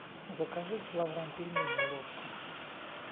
закажи килограмм пельменей ложка